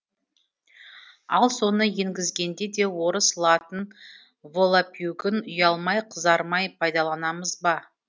ал соны енгізгенде де орыс латын волапюгін ұялмай қызармай пайдаланамыз ба